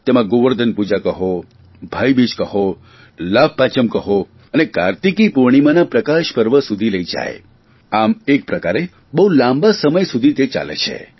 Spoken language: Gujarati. તેમાં ગોવર્ધન પૂજા કહો ભાઇબીજ કહો લાભપાંચમ કહો અને કાર્તિકી પૂર્ણિમાના પ્રકાશપર્વ સુધી લઇ જાય આમ એક પ્રકારે બહુ લાંબા સમયગાળા સુધી તે ચાલે છે